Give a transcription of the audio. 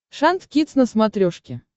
шант кидс на смотрешке